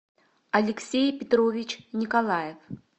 алексей петрович николаев